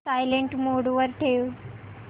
silent mode वर ठेव